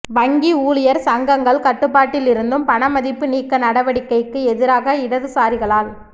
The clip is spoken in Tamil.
வங்கி ஊழியர் சங்கங்கள் கட்டுப்பாட்டில் இருந்தும் பணமதிப்பு நீக்க நடவடிக்கைக்கு எதிராக இடதுசாரிகளால்